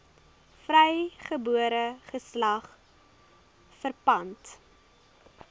vrygebore geslag verpand